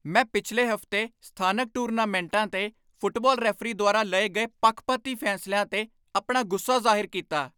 ਮੈਂ ਪਿਛਲੇ ਹਫ਼ਤੇ ਸਥਾਨਕ ਟੂਰਨਾਮੈਂਟਾਂ 'ਤੇ ਫੁੱਟਬਾਲ ਰੈਫਰੀ ਦੁਆਰਾ ਲਏ ਗਏ ਪੱਖਪਾਤੀ ਫੈਸਲਿਆਂ 'ਤੇ ਆਪਣਾ ਗੁੱਸਾ ਜ਼ਾਹਿਰ ਕੀਤਾ।